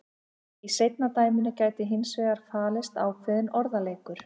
Í seinna dæminu gæti hins vegar falist ákveðinn orðaleikur.